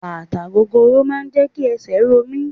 Bàtà gogoro máà ń jẹ́ kí esè ro mí.